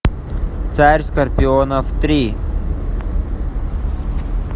царь скорпионов три